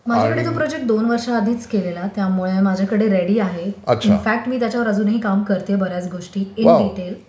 माझ्याकडे तो प्रोजेक्ट एक-दोन वर्षांआधीच केलेला त्यामुळे माझ्याकडे तो प्रोजेक्ट रेडी आहे, इनफॅक्ट मी त्याच्यावर अजूनही काम करते बऱ्याच गोष्टी इन डिटेल